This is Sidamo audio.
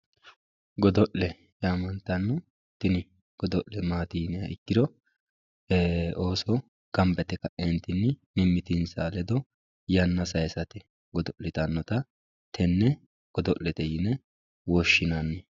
godo'le yaamantanno tini godo'le maati yiniha ikkiro ooso gamba yite ka'eentinni mimitinsa ledo yanna sayiisate godo'litannota tenne yine woshshinanni.